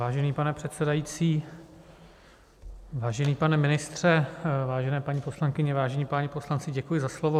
Vážený pane předsedající, vážený pane ministře, vážené paní poslankyně, vážení páni poslanci, děkuji za slovo.